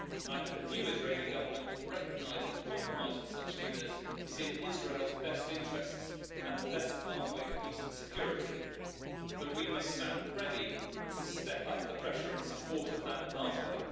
I hope a new Israeli government will recognize that compromise with such leaders is in Israel's best interests and the best pathway to peace and security, but we must stand ready to step up the pressure in support of that pathway.